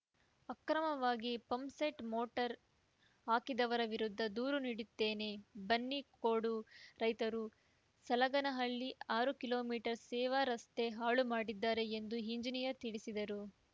ಅಕ್ರಮವಾಗಿ pump set motor ಹಾಕಿದವರ ವಿರುದ್ಧ ದೂರು ನೀಡಿದ್ದೇನೆ ಬನ್ನಿಕೋಡು ರೈತರು ಸಲಗನಹಳ್ಳಿ ಆರು ಕಿಲೋ ಮೀಟರ್ ಸೇವಾ ರಸ್ತೆ ಹಾಳು ಮಾಡಿದ್ದಾರೆ ಎಂದು ಇಂಜಿನಿಯರ್‌ ತಿಳಿಸಿದರು